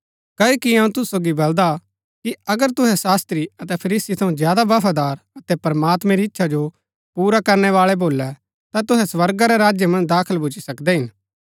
क्ओकि अऊँ तुसु सोगी बलदा कि अगर तुहै शास्त्री अतै फरीसी थऊँ ज्यादा बफादार अतै प्रमात्मैं री इच्छा जो पुरा करनै बाळै भोलै ता तुहै स्वर्गा रै राज्य मन्ज दाखल भूच्ची सकदै हिन